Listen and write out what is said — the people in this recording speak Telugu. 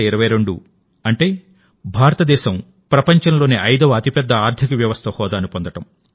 2022 అంటే భారతదేశం ప్రపంచంలోని ఐదవ అతిపెద్ద ఆర్థిక వ్యవస్థ హోదాను పొందడం